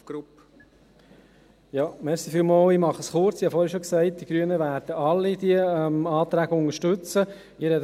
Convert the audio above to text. Ich habe vorhin bereits gesagt, dass die Grünen all diese Anträge unterstützen werden.